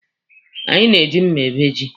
Anyi na-eji mma ebe ji.